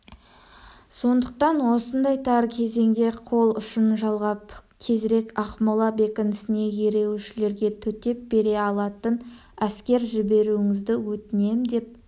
сондықтан осындай тар кезеңде қол ұшын жалғап тезірек ақмола бекінісіне ереуілшілерге төтеп бере алатын әскер жіберуіңізді өтінем деп